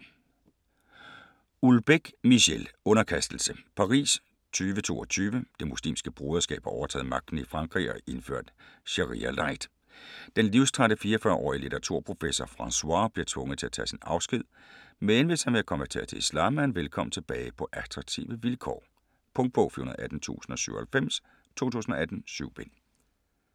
Houellebecq, Michel: Underkastelse Paris 2022. Det Muslimske Broderskab har overtaget magten i Frankrig og indført sharia-light. Den livstrætte 44-årige litteraturprofessor Francois bliver tvunget til at tage sin afsked, men hvis han vil konvertere til islam, er han velkommen tilbage på attraktive vilkår. Punktbog 418097 2018. 7 bind.